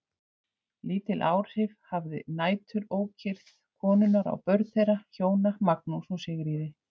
Lítil áhrif hafði næturókyrrð konunnar á börn þeirra hjóna, Magnús og Sigríði.